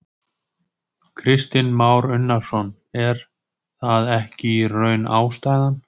Kristinn Már Unnarsson: Er það ekki í raun ástæðan?